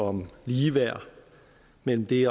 om ligeværd mellem det